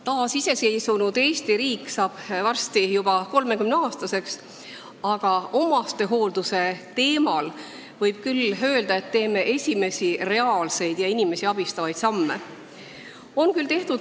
Taasiseseisvunud Eesti riik saab varsti juba 30-aastaseks, aga omastehoolduses, võib küll öelda, teeme esimesi reaalselt inimesi abistavaid samme.